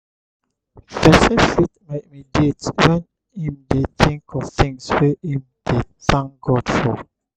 person fit mediate when im dey think of things wey im dey thank god for